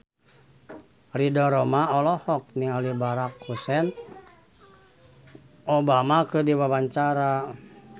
Ridho Roma olohok ningali Barack Hussein Obama keur diwawancara